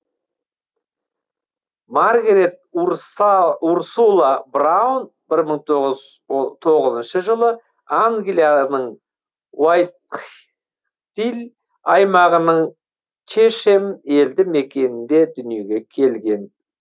маргарет урсула браун бір мың тоғыз тоғызыншы жылы англияның уайтхтилл аймағының чешэм елді мекенінде дүниеге келген